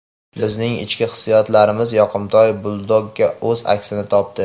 Bizning ichki hissiyotlarimiz yoqimtoy buldogda o‘z aksini topdi.